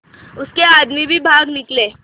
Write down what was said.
उसके आदमी भी भाग निकले